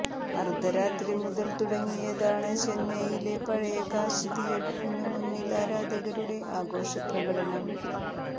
അർദ്ധരാത്രി മുതൽ തുടങ്ങിയതാണ് ചെന്നൈയിലെ പഴയ കാശി തിയറ്ററിനു മുന്നിൽ ആരാധകരുടെ ആഘോഷപ്രകടനം